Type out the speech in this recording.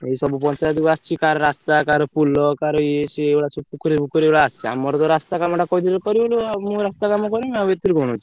ଏଇ ସବୁ ପଞ୍ଚାୟତ କୁ ଆସିଛି କାହାର ରାସ୍ତା କାହାର ପୋଲ କାହାର ଇଏ ସିଏ ଏଇ ଭଳିଆ ସବୁ ପୋଖରୀ ଫୋକରି ଏଇଗୁଡ଼ା ସବୁ ଆସିଛି ଆମର ତ ରାସ୍ତା କାମ ଟା କହିଥିଲୁ କରିବୁ ବୋଲି ଆଉ ମୁ ମୋର ରାସ୍ତା କାମ କରିମି ଆଉ ଏଥିରେ କଣ ଅଛି।